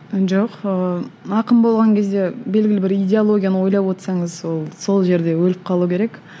жоқ ыыы ақын болған кезде белгілі бір идеологияны ойлап отырсаңыз ол сол жерде өліп қалу керек